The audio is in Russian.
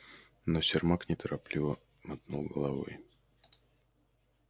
но сермак нетерпеливо мотнул головой